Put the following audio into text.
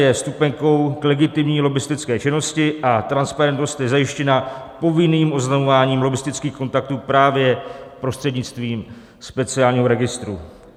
Je vstupenkou k legitimní lobbistické činnosti a transparentnost je zajištěna povinným oznamováním lobbistických kontaktů právě prostřednictvím speciálního registru.